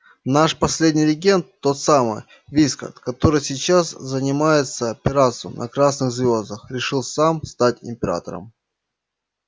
наш последний регент тот самый вискард который сейчас занимается пиратством на красных звёздах решил сам стать императором